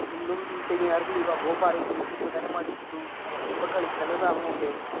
ശനി, ഞായർ ലീവ് ആണ് അപ്പോ പറയുന്നുണ്ട് എനിക്കിപ്പോ തന്നെ മടുത്ത ഇപ്പ കളിക്കേണ്ട സമയമല്ലേ